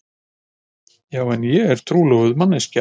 Já en þetta er trúlofuð manneskja.